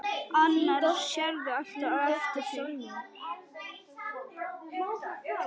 Annars sérðu alltaf eftir því.